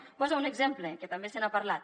en poso un exemple que també se n’ha parlat